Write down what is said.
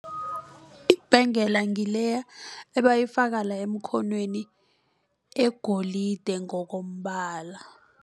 Ibhengela ngileya abayifaka la emkhonweni egolide ngokombala.